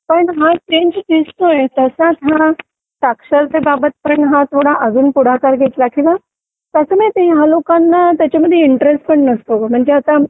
पण हा चेंज दिसतोय तसाच हा साक्षरतेबाबत पण हा थोडा अजून पुढाकार घेतला किंवा कसं माहिती या लोकांना त्याच्यामध्ये इंटरेस्ट पण नसतो ग म्हणजे आता